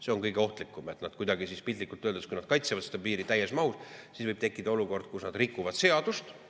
See on kõige ohtlikum, et piltlikult öeldes, kui nad kaitsevad piiri täies mahus, siis võib tekkida olukord, kus nad rikuvad seadust.